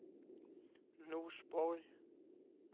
Norsborg